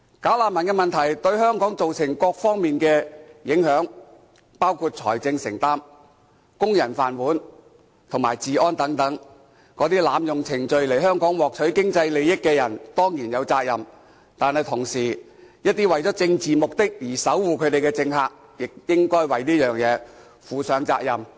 "假難民"問題對香港造成各方面的影響，包括財政承擔，工人"飯碗"和治安等，這些濫用程序來香港獲取經濟利益的人，當然有責任，但一些為了政治目的而守護他們的政客，亦應該為這事負上責任。